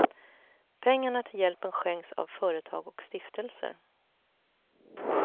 Pengarna till hjälpen skänks av företag och stiftelser.